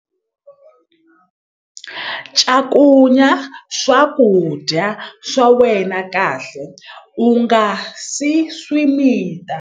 Cakunya swakudya swa wena kahle u nga si swi mita.